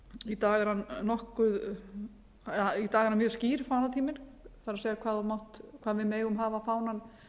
í dag er hann mjög skýr fánatíminn það er hvað við megum hafa fánann